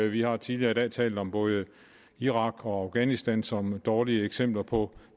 vi har tidligere i dag talt om både irak og afghanistan som dårlige eksempler på